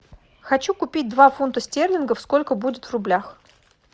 хочу купить два фунта стерлингов сколько будет в рублях